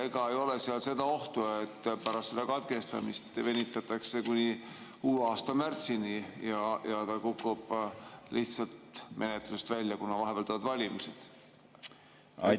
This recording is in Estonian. Ega ei ole seda ohtu, et pärast katkestamist venitatakse kuni uue aasta märtsini ja see kukub lihtsalt menetlusest välja, kuna vahepeal tulevad valimised?